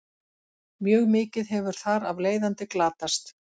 Mjög mikið hefur þar af leiðandi glatast.